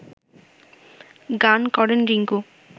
গান করেন রিংকু